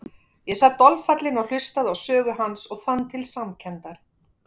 Ég sat dolfallinn og hlustaði á sögu hans og fann til samkenndar.